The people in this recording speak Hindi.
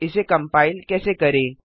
इसे कम्पाइल कैसे करें